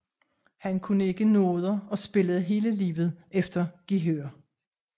Han kunne ikke noder og spillede hele livet efter gehør